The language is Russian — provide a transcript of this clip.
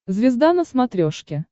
звезда на смотрешке